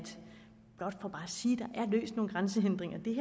løst nogle grænsehindringer